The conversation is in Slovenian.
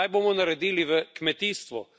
Kaj bomo naredili v kmetijstvu?